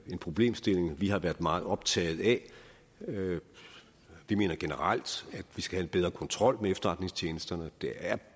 problemstilling vi har været meget optaget af vi mener generelt at vi skal have bedre kontrol med efterretningstjenesterne det er